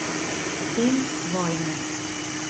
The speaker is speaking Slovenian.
In vojne.